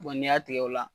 n'i y'a tigɛ o la